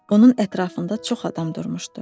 Onun ətrafında çox adam durmuşdu.